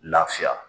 Lafiya